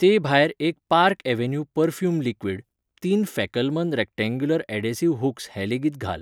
ते भायर एक पार्क अव्हेन्यू पर्फ्यूम लिक्वीड, तीन फॅकलमन रॅक्टेंग्युलर यॅडेंसीव्ह हूक्स हें लेगीत घाल.